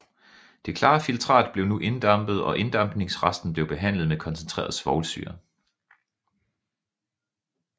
Det klare filtrat blev nu inddampet og inddampningsresten blev behandlet med koncentreret svovlsyre